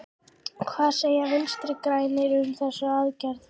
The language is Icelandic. Hvað segja Vinstri-grænir um þessa aðgerð?